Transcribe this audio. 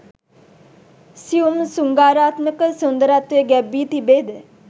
සියුම් ශෘංගාරාත්මක සුන්දරත්වය ගැබ් වී තිබේ ද?